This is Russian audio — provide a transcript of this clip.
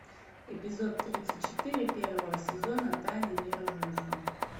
эпизод тридцать четыре первого сезона тайны ниро вульфа